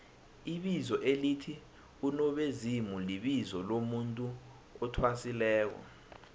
ibizo elithi nobezimulibizo lomuntu athwasileko